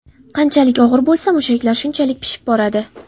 Qanchalik og‘ir bo‘lsa, mushaklar shunchalik pishib boradi.